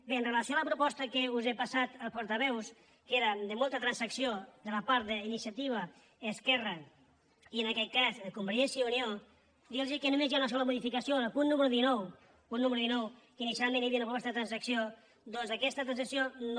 bé amb relació a la proposta que us he passat als portaveus que eren de molta transacció de la part d’iniciativa esquerra i en aquest cas convergència i unió dir los que només hi ha una sola modificació en el punt número dinou punt número dinou que inicialment hi havia una proposta de transacció doncs aquesta transacció no